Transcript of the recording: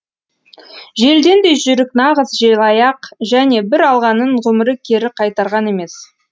желден де жүйрік нағыз желаяқ және бір алғанын ғұмыры кері қайтарған емес